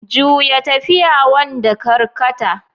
Juya tafiya, wanda karkata.